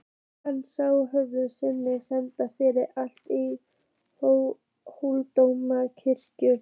Hann sá föður sinn standa fyrir altari í Hóladómkirkju.